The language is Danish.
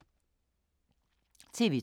TV 2